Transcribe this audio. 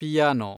piano